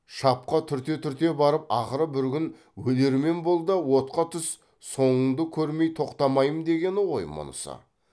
шапқа түрте түрте барып ақыры бір күн өлермен бол да отқа түс соңыңды көрмей тоқтамаймын дегені ғой мұнысы